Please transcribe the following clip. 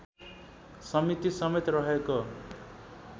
समिति समेत रहेको